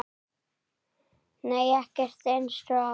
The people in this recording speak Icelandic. Nei ekkert eins og